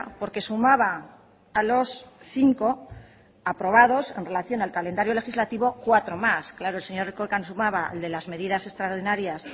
porque sumaba a los cinco aprobados en relación al calendario legislativo cuatro más el señor erkoreka nos sumaba el de las medidas extraordinarias